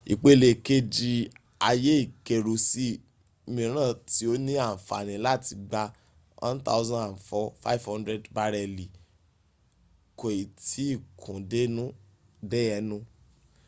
ipele keji aye ikeru si miran ti o ni anfani lati gba 104,500 bareli ko i ti kun de enu